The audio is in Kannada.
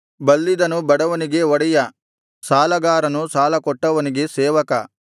ಬಲ್ಲಿದನು ಬಡವನಿಗೆ ಒಡೆಯ ಸಾಲಗಾರನು ಸಾಲಕೊಟ್ಟವನಿಗೆ ಸೇವಕ